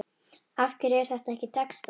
Af hverju er þetta ekki textað?